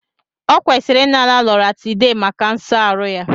Ọ kwesịrị inara Loratiday maka nso aru ya